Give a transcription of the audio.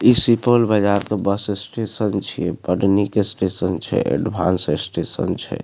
ई सुपौल बाजार के bus station छे बड़ निक स्टेशन छे एडवांस स्टेशन छे।